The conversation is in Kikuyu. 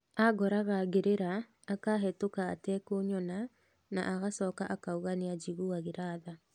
Angoraga ngĩrĩra akabĩtuka atekũnyona na agicoka akauga niajguĩira tha